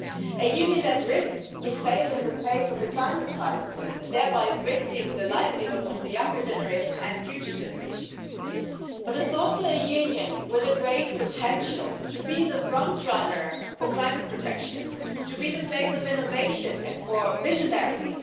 A Union that risks to fail in the face of the climate crisis, thereby risking the livelihood of the younger generation and future generations. But it's also a Union with a great potential to be the front runner for climate protection, to be the place of innovation and for visionaries